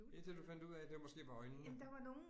Indtil du fandt ud af det måske var øjnene